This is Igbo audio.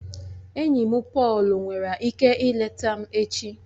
Enyi m Pọọlu nwere ike ileta m echi